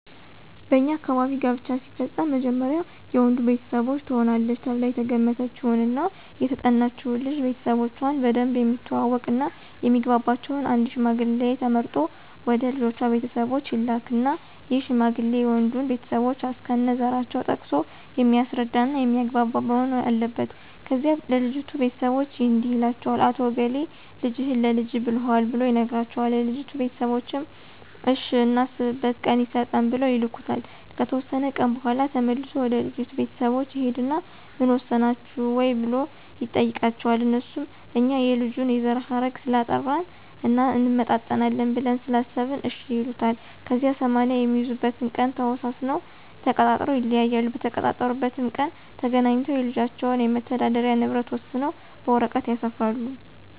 በኛ አካባቢ ጋብቻ ሲፈፀም መጀመሪያ የወንዱ ቤተሰቦች ትሆናለች ተብላ የተገመተችውን እና የተጠናችውን ልጅ ቤተሰቦቾን በደንብ የሚተዋወቅ እና የሚግባባቸውን አንድ ሽማግሌ ተመርጦ ወደ ልጅቷ ቤተሰቦች ይላካን ይህ ሽማግሌ የወንዱንም ቤተሰቦች እስከነዘራቸው ጠቅሶ የሚያስረዳ እና የሚያግባባ መሆን አለበት። ከዚያ ለልጅቷ ቤተሰቦች እንዲህ ይላቸዋል "አቶ እገሌ ልጅህን ለልጀ ብሎሀል"ብሎ ይነግራቸዋል የልጅቷ ቤተሰቦችም እሽ እናስብበት ቀን ይሰጠን ብለው ይልኩታል። ከተወሰነ ቀን በኋላ ተመልሶ ወደ ልጅቷ ቤተሰቦች ይሂድና ምን ወሰናችሁ ወይ ብሎ ይጠይቃቸዋል? አነሱም እኛ የልጁን የዘረሀረግ ስላጣራን እና እንመጣጠናለን ብለን ስላሰበን እሽ ይሉታል። ከዚያ 80 የሚይዙበትን ቀን ተወሳስነውና ተቃጥረው ይለያያሉ። በተቀጣጠሩበት ቀን ተገናኝተው የልጆችን የመተዳደሪ ንብረት ወሰነው በወረቀት ያሰፍራሉ።